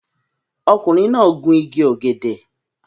Ọkùnrin náà gun igi ọ̀gẹ̀dẹ̀